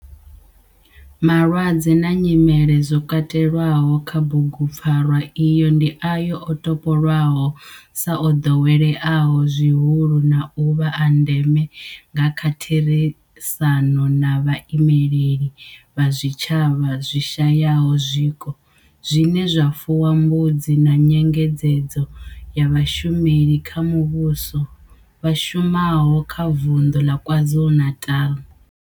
Malwadze na nyimele zwo katelwaho kha bugupfarwa iyi ndi ayo o topolwaho sa o doweleaho zwihulu na u vha a ndeme nga kha therisano na vhaimeleli vha zwitshavha zwi shayaho zwiko zwine zwa fuwa mbudzi na nyengedzedzo ya vhashumeli vha muvhusho vha shumaho kha Vundu la KwaZulu-Natal.